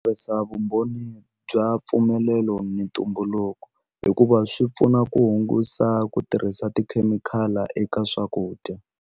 Tirhisa vumbhoni bya mpfumelelo ni ntumbuluko hikuva swi pfuna ku hungusa ku tirhisa tikhemikhali eka swakudya.